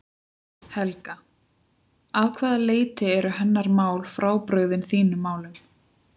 Helga: Að hvaða leyti eru hennar mál frábrugðin þínum málum?